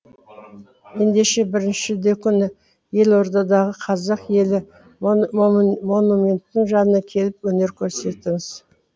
ендеше бірінші шілде күні елордадағы қазақ елі монументінің жанына келіп өнер көрсетіңіз